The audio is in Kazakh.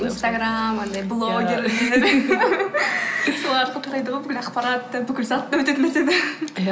инстаграм анадай блогер солардан тарайды ғой бүкіл ақпарат та бүкіл зат та иә